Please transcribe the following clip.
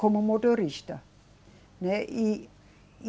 Como motorista, né, e, e